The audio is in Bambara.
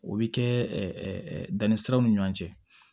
O bɛ kɛ danni siraw ni ɲɔgɔn cɛ